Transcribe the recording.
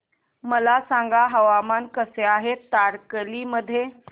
मला सांगा हवामान कसे आहे तारकर्ली मध्ये